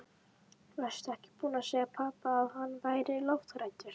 Varstu ekki búin að segja pabba að hann væri lofthræddur?